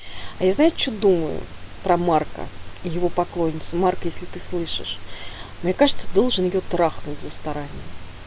а я знаю что думаю про марка и его поклонницу марк если ты слышишь мне кажется ты должен её трахнуть за старание